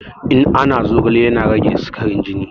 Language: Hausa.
Ina na zogale yana rage sikarin jini